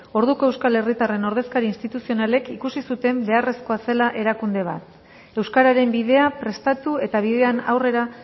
orduko euskal herritarren ordezkari instituzionalek ikusi zuten beharrezkoa zela erakunde bat euskararen bidea prestatu eta bidean aurrera